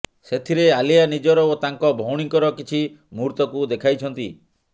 ସେଥିରେ ଆଲିଆ ନିଜର ଓ ତାଙ୍କ ଭଉଣୀଙ୍କର କିଛି ମୁହୂର୍ତ୍ତକୁ ଦେଖାଇଛନ୍ତି